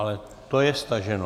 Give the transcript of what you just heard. Ale to je staženo.